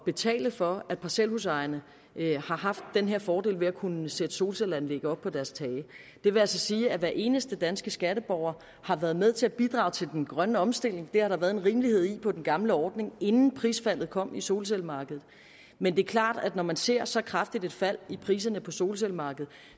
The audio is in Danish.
betale for at parcelhusejerne har haft den her fordel ved at kunne sætte solcelleanlæg op på deres tage det vil altså sige at hver eneste danske skatteborger har været med til at bidrage til den grønne omstilling det har der været en rimelighed i på den gamle ordning inden prisfaldet kom på solcellemarkedet men det er klart at når man ser så kraftigt et fald i priserne på solcellemarkedet